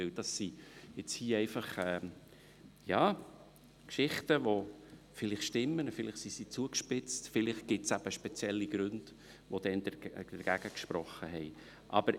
Das sind Geschichten, die vielleicht stimmen, vielleicht wurden sie zugespitzt weitererzählt, oder vielleicht gibt es spezielle Gründe, die damals dagegen gesprochen haben.